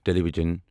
ٹیٖلی وژرن